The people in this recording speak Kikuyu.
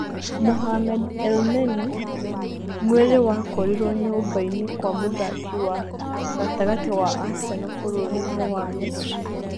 Mohamed Elneny: mwĩrĩ wakorirũo nyũmba inĩ kwa mũthaki wa gatagatĩ wa Arsenal bũrũri-inĩ wa misiri